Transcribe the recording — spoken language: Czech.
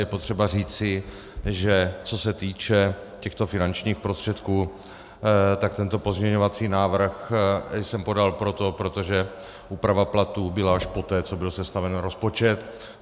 Je potřeba říci, že co se týče těchto finančních prostředků, tak tento pozměňovací návrh jsem podal proto, protože úprava platů byla až poté, co byl sestaven rozpočet.